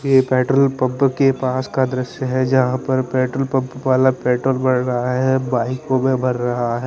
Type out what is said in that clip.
ये petrol pump के पास का दृश्य है जहां पर पेट्रोल पंप वाला पेट्रोल भर रहा है बाईकों में भर रहा--